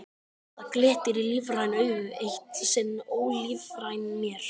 Það glittir í lífræn augu, eitt sinn ólífræn mér.